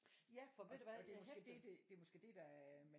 Ja for ved du hvad jeg